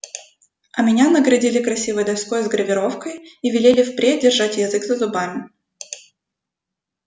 а меня наградили красивой доской с гравировкой и велели впредь держать язык за зубами